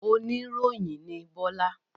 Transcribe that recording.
Oníròyìn ni Bọ́lá?